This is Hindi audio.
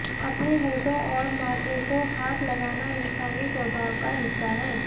अपने होंठों और माथे को हाथ लगाना इंसानी स्वभाव का हिस्सा है